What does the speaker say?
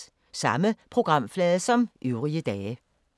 Samme programflade som øvrige dage